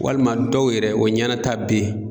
Walima dɔw yɛrɛ o ɲɛnata be yen